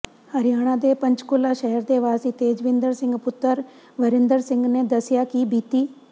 ਹਰਿਆਣਾ ਦੇ ਪੰਚਕੂਲਾ ਸ਼ਹਿਰ ਦੇ ਵਾਸੀ ਤੇਜਵਿੰਦਰ ਸਿੰਘ ਪੁੱਤਰ ਵਰਿੰਦਰ ਸਿੰਘ ਨੇ ਦੱਸਿਆ ਕਿ ਬੀਤੀ